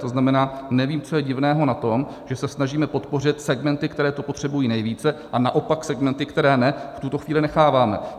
To znamená, nevím, co je divného na tom, že se snažíme podpořit segmenty, které se potřebují nejvíce, a naopak segmenty, které ne, v tuto chvíli necháváme.